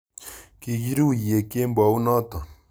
Kikiruiye kembounoto